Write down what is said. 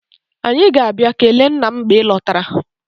Anyị ga-abịa kelee nna m mgbe ị lọtara.